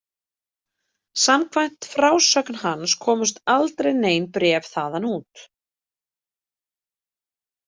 Samkvæmt frásögn hans komust aldrei nein bréf þaðan út.